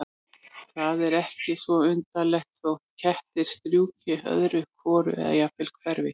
Það er því ekki svo undarlegt þótt kettir strjúki öðru hvoru eða jafnvel hverfi.